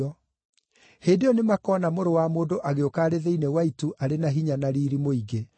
Hĩndĩ ĩyo nĩmakona Mũrũ wa Mũndũ agĩũka arĩ thĩinĩ wa itu arĩ na hinya na riiri mũingĩ.